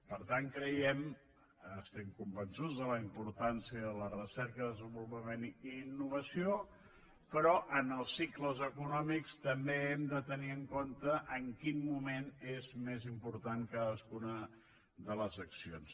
per tant creiem estem convençuts de la importància de la recerca desenvolupament i innovació però en els cicles econòmics també hem de tenir en compte en quin moment és més important cadascuna de les accions